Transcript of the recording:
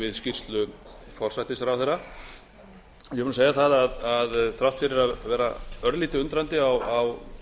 við skýrslu forsætisráðherra ég vil nú segja það að þrátt fyrir að vera örlítið undrandi á